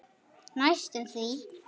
Næstum því.